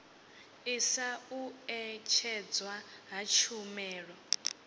ḓisa u ṅetshedzwa ha tshumelo